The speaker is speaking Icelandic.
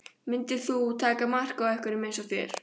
Myndir þú taka mark á einhverjum eins og þér?